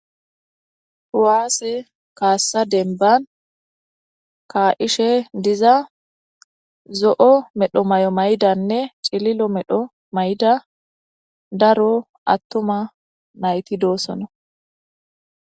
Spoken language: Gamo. Kuwaase kaassa denban ka'ishe diza zo'o medho may'o maydanne cililo medho mayda daro attuma nayti doossona.